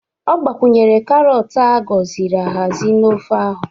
Ọ gbakwunyere karọt a gọziri ahazi na ofe ahụ